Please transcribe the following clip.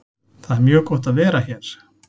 Það er mjög gott að vera hér.